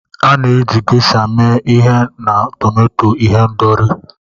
A na-eji Geisha mee ihe na tomato ihendori